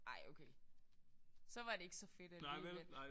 Ej okay så var det ikke så fedt alligevel